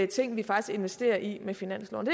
ting vi faktisk investerer i med finansloven